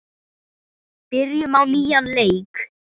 Byrjum á nýjan leik.